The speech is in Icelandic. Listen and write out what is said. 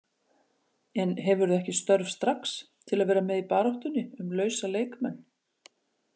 En hefurðu ekki störf strax til að vera með í baráttunni um lausa leikmenn?